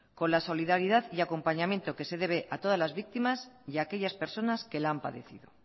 con la solidaridad y el acompañamiento que se debe a todas las víctimas y aquellas personas que la han padecido